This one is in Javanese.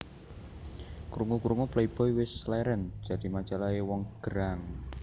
Krungu krungu Playboy wes leren jadi majalah e wong gerang